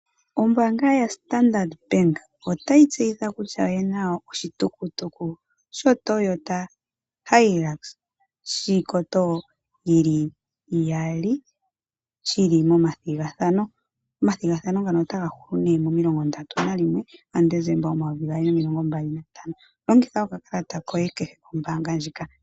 Ombaanga ya Standard bank, otayi tseyitha kutya oyina oshitukutuku sho Toyota Hilux shiikoto yili iyali, shili mo ma thigathano. Omathigathano ngano otaga hulu momasiku omilongo ndatu nalimwe gaDesemba omayovi gaali nomilongo mbali nantano. Longa okakalata koye kehe kombaanga ndjika .